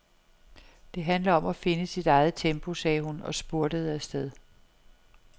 Det handler om at finde sit eget tempo, sagde hun og spurtede afsted.